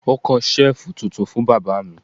Wọ́n kan Ṣẹ́ẹ̀fù tuntun fún bàbá mi